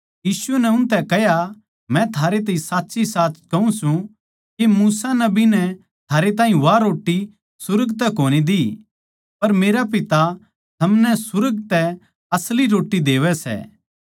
यीशु नै उनतै कह्या मै थारैताहीं साच्चीसाच कहूँ सूं के मूसा नबी नै थारैताहीं वा रोट्टी सुर्ग तै कोनी दी पर मेरा पिता थमनै सुर्ग तै असली रोट्टी देवै सै